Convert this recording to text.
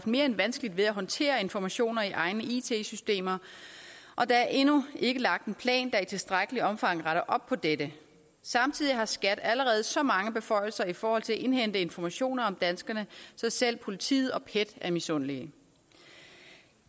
mere end vanskeligt ved at håndtere informationer i egne it systemer og der er endnu ikke lagt en plan der i tilstrækkeligt omfang retter op på dette samtidig har skat allerede så mange beføjelser i forhold til at indhente informationer om danskerne så selv politiet og pet er misundelige